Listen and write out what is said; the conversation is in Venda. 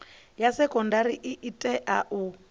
ya sekondari i tea u